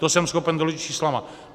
To jsem schopen doložit čísly.